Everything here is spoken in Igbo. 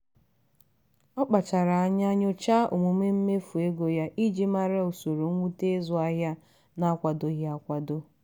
ọ kpachara anya nyochaa omume mmefu ego ya iji mara usoro mwute ịzụ ahịa na-akwadoghị akwado.